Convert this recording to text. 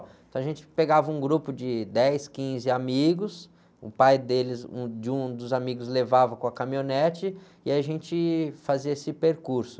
Então a gente pegava um grupo de dez, quinze amigos, o pai deles, o de um dos amigos levava com a caminhonete e a gente fazia esse percurso.